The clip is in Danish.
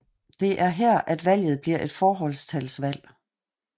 Det er her at valget bliver et forholdstalsvalg